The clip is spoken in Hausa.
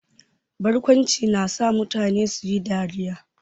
Barkwanci na sa mutane su yi dariya.